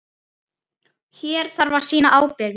Hér þarf að sýna ábyrgð.